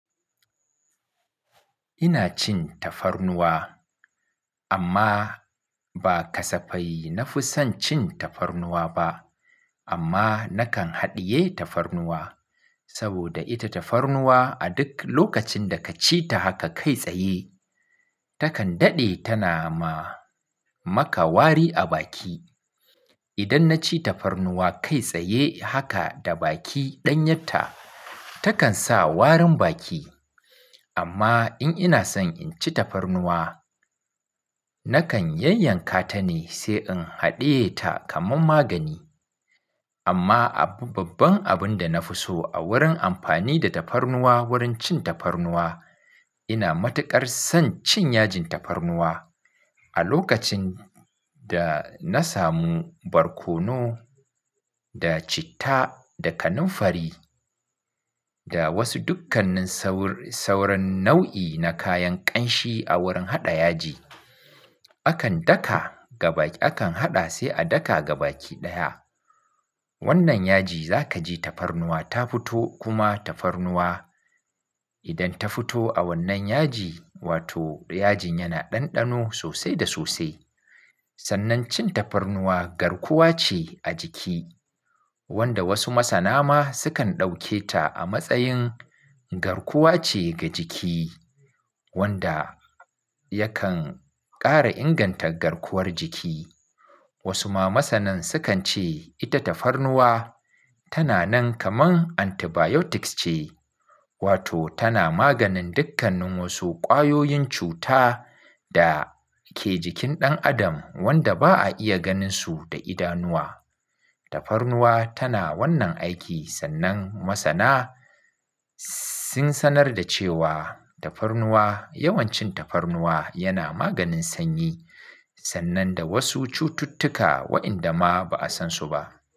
Ina cin tafarnuwa amma ba kasafai na fi son cin tafarnuwa ba. Amma na kan haɗiye tafarnuwa saboda ita tafarnuwa a duk lokacin da ka ci ta haka kai tsaye takan daɗe tana ma maka wari a baki. Idan na ci tafarnuwa kai tsaye haka da baki ɗan yatta takan sa warin baki. Amma in ina son in ci tafarnuwa na kan yanyanka ta ne sai in haɗiye ta kamar magani. Amma abun babban abun da na fi so a wurin amfani da tafarnuwa wurin cin tafarnuwa ina matuƙar son cin yajin tafarnuwa. A lokacin da na samu barkono da citta da kanunfari da wasu dukkannin sawur-sawurin nau'i na kayan ƙanshi a wurin haɗa yaji. Akan daka gaba, akan haɗa sai a daka gaba ki ɗaya. Wannan yaji za ka ji tafarnuwa ta fito kuma tafarnuwa idan ta fito a wannan yaji wato yajin yana ɗanɗano sosai da sosai. Sannan cin tafarnuwa garkuwa ce a jiki wanda wasu masana ma sukan ɗauke ta a matsayin garkuwa ce ga jiki wanda yakan ƙara inganta garkuwar jiki. Wasu ma masanan sukan ce ita tafarnuwa tana nan kamar antibiotics ce wato tana maganin dukkannin wasu ƙwayoyin cuta da ke jikin ɗan adam wanda ba a iya ganinsu da idanuwa. Tafarnuwa tana wannan aiki sannan masana sun sanar da cewa tafarnuwa yawancin tafarnuwa yana maganin sanyi sannan da wasu cututtuka wa'inda ma ba'a san su ba.